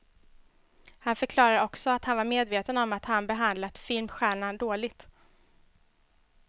Han förklarade också att han var medveten om att han behandlat filmstjärnan dåligt.